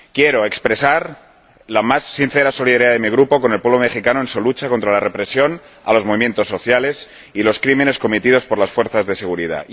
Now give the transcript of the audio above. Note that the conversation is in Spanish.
Quiero expresar la más sincera solidaridad de mi Grupo con el pueblo mexicano en su lucha contra la represión ejercida sobre los movimientos sociales y contra los crímenes cometidos por las fuerzas de seguridad.